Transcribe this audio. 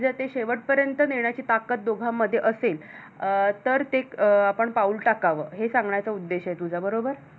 अं तर ते अं आपण पाऊल टाकावं हे सांगाचा उद्देश आहे तुझ्या बरोबर